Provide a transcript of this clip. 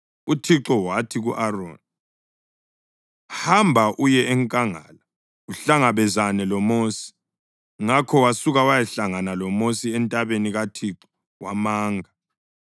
UThixo wathi ku-Aroni, “Hamba uye enkangala uhlangabezane loMosi.” Ngakho wasuka wayahlangana loMosi entabeni kaThixo wamanga.